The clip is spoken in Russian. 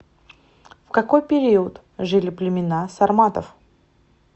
в какой период жили племена сарматов